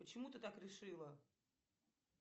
почему ты так решила